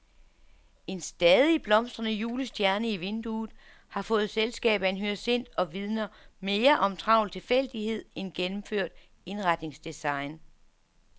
En stadig blomstrende julestjerne i vinduet har fået selskab af en hyacint og vidner mere om travl tilfældighed end gennemført indretningsdesign.